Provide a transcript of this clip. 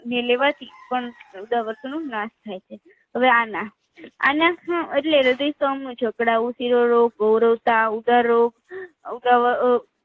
ને લેવાથી પણ ઉદાવતનો નાસ થાય છે હવે આના આનખવ એટલે હ્રદય તવ નું જકડાવું તિરોરોગ ગોરોતાવ દરો અ ઉદાર